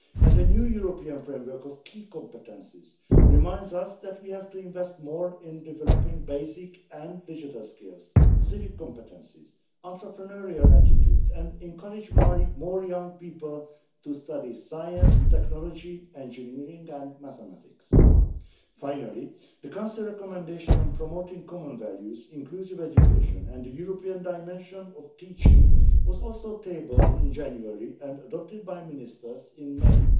A new European framework of key competences reminds us that we have to invest more in developing basic and digital skills, civic competencies and entrepreneurial attitudes, and we have to encourage more young people to study science, technology, engineering and mathematics. Finally, the Council recommendation on promoting common values, inclusive education and the European dimension of teaching was also tabled in January and adopted by ministers in